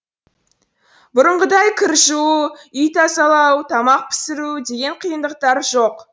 бұрынғыдай кір жуу үй тазалау тамақ пісіру деген қиындықтар жоқ